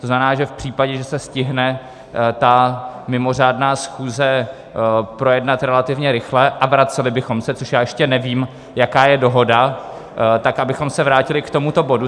To znamená, že v případě, že se stihne ta mimořádná schůze projednat relativně rychle a vraceli bychom se, což já ještě nevím, jaká je dohoda, tak abychom se vrátili k tomuto bodu.